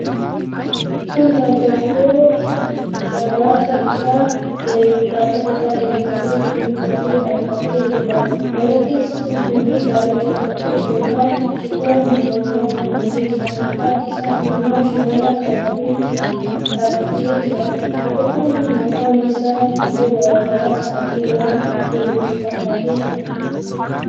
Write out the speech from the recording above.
Kun dargaggoo dabbasaa isaa dheereffatee, suufii uffatee dhaabbatee jiruudha. Dargaggeessi kun suufii daalacha uffatee fooxaa xiqqoo mormatti maratee jira. Harka isaatiin immoo shimala qabatee dhaabbatee jira. Dargaggoon kun afaan isaa xiqqoo gargar saaqee waan weellisu fakkaatee jira.